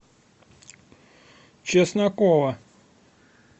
чеснокова